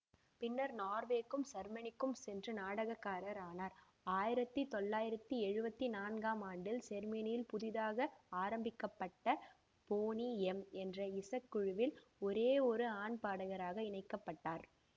பின்னர் நோர்வேக்கும் செர்மனிக்கும் சென்று நடனக்காரர் ஆனார் ஆயிரத்தி தொள்ளாயிரத்தி எழுவத்தி நான்காம் ஆண்டில் செருமனியில் புதிதாக ஆரம்பிக்க பட்ட பொனி எம் என்ற இசக்குழுவில் ஒரேயொரு ஆண் பாடகராக இணைக்கப்பட்டார்